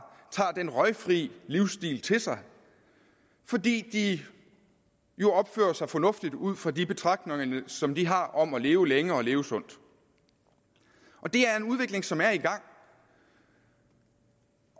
den røgfri livsstil til sig fordi de jo opfører sig fornuftigt ud fra de betragtninger som de har om at leve længe og leve sundt det er en udvikling som er i gang